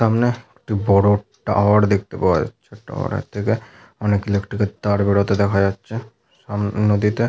সামনে একটি বড় টাওয়ার দেখতে পাওয়া যাচ্ছে টাওয়ার এর থেকে অনেক ইলেকট্রিকের তার বেরতে দেখতে পাওয়া যাচ্ছে সামনে নদীতে।